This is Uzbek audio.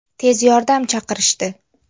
Tez yordam chaqirishdi.